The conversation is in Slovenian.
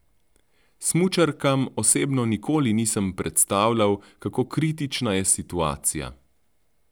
Smučarkam osebno nikoli nisem predstavljal, kako kritična je situacija.